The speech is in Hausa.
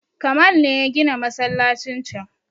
Kamal ne ya gina masallacin can